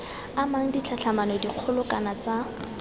amang ditlhatlhamano dikgolo kana tsa